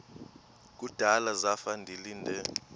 kudala zafa ndilinde